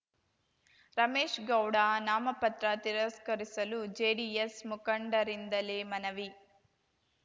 ರಮೇಶ್‌ಗೌಡ ನಾಮಪತ್ರ ತಿರಸ್ಕರಿಸಲು ಜೆಡಿಎಸ್‌ ಮುಖಂಡರಿಂದಲೇ ಮನವಿ